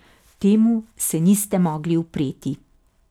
Temu se niste mogli upreti.